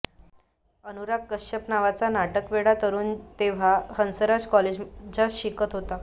अनुराग कश्यप नावाचा नाटकवेडा तरूण तेव्हा हंसराज कॉलेजात शिकत होता